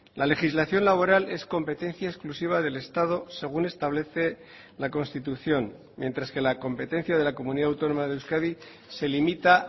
la legislación laboral es competencia exclusiva del estado según establece la constitución mientras que la competencia de la comunidad autónoma de euskadi se limita